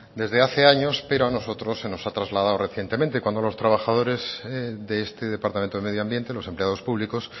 desde hace años pero a nosotros se nos ha trasladado recientemente cuando a los trabajadores de este departamento de medio ambiente los empleados públicos